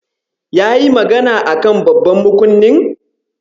Yayi magana a kan babban makunnin?